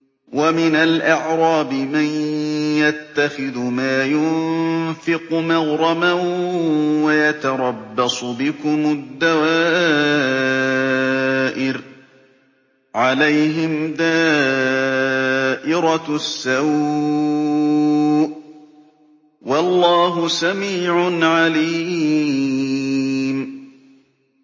وَمِنَ الْأَعْرَابِ مَن يَتَّخِذُ مَا يُنفِقُ مَغْرَمًا وَيَتَرَبَّصُ بِكُمُ الدَّوَائِرَ ۚ عَلَيْهِمْ دَائِرَةُ السَّوْءِ ۗ وَاللَّهُ سَمِيعٌ عَلِيمٌ